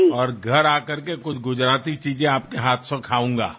અને ઘરે આવીને કેટલીક ગુજરાતી વાનગીઓ આપના હાથેથી ખાઈશ